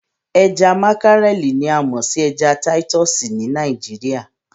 Ẹja makarẹli ni a mọ sí ẹja titúsí ní Nàìjíríà.